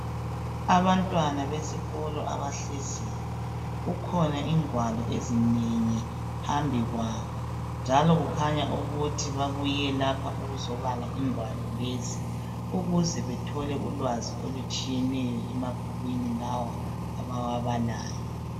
abantwana besikolo abahleziyo kukhona ingwalo ezinengi phambi kwabo njalo kukhanya ukuthi babuye lapha ukuzobala ingwalo lezi ukuze bethole ulwazi olutshiyeneyo emabhukwini lawa abawabalayo